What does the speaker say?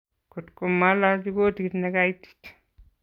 Kotgomalachi kotit negaitit